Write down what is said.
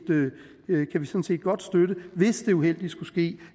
godt støtte hvis det uheldige skulle ske